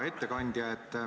Hea ettekandja!